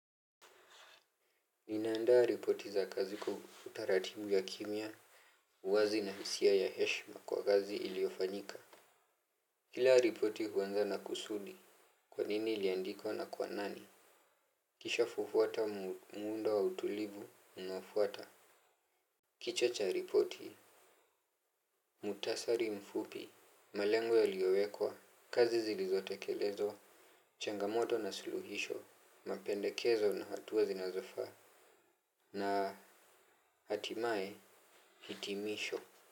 Ninaandaa ripoti za kazi kwa utaratibu ya kimya, uwazi na hisia ya heshima kwa kazi iliyofanyika. Kila ripoti huanza na kusudi. Kwa nini iliandikwa na kwa nani? Kishafuata muundo wa utulivu unaofuata. Kichwa cha ripoti. Muhktasari mfupi, malengo yaliyowekwa, kazi zilizotekelezwa, changamoto na suluhisho, mapendekezo na hatua zinazofaa, na hatimaye hitimisho.